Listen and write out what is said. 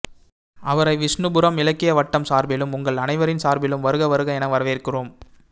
அவரை விஷ்ணுபுரம் இலக்கிய வட்டம் சார்பிலும் உங்கள் அனைவரின் சார்பிலும் வருக வருக என வரவேற்கிறோம்